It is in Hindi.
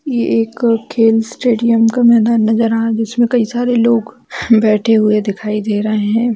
ये एक खेल स्टेडियम का मैदान नज़र आ रहा हैं जिसमे कई सारे लोग बैठे हुए दिखाई दे रहे हैं ।